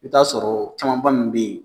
I bi taa sɔrɔ o camanba min be yen